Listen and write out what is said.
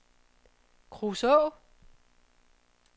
Kruså